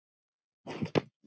Verð tár.